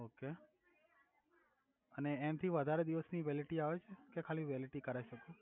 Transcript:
Okay અને એનથી વધારે દિવસની વેલિડીટી આવે ચે કે ખાલી વેલિટિ કરાઈ સકુ.